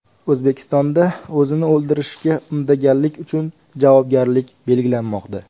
O‘zbekistonda o‘zini o‘ldirishga undaganlik uchun javobgarlik belgilanmoqda .